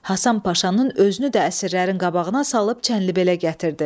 Həsən Paşanın özünü də əsirlərin qabağına salıb çənlibelə gətirdi.